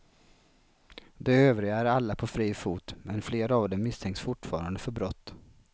De övriga är alla på fri fot men flera av dem misstänks fortfarande för brott.